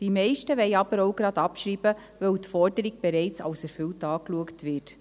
Die meisten wollen aber zugleich auch abschreiben, da die Forderung bereits als erfüllt angeschaut wird.